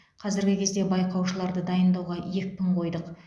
қазіргі кезде байқаушыларды дайындауға екпін қойдық